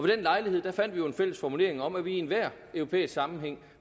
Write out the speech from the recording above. den lejlighed fandt vi jo en fælles formulering om at vi i enhver europæisk sammenhæng